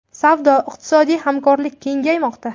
Savdo-iqtisodiy hamkorlik kengaymoqda.